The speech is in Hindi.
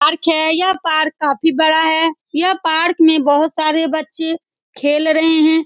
यह पार्क है। यह पार्क काफी बड़ा है। यह पार्क में बहुत सारे बच्चे खेल रहे हैं।